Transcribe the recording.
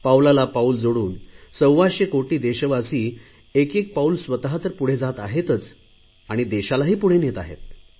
पावलाला पाऊल जोडून सव्वाशे कोटी देशवासिय एक एक पाऊल स्वत तर पुढे जात आहेतच आणि देशालाही पुढे नेत आहेत